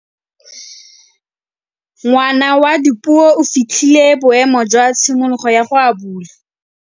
Ngwana wa Dipuo o fitlhile boêmô jwa tshimologô ya go abula.